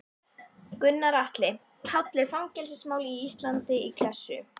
Gunnar Atli: Páll er fangelsismál á Íslandi í klessu?